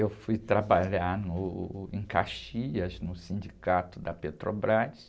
Eu fui trabalhar no, em Caxias, no sindicato da Petrobras,